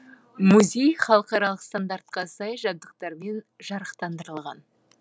музей халықаралық стандарттарға сай жабдықтармен жарақтандырылған